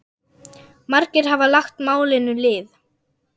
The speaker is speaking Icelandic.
Margir hafa lagt málinu lið.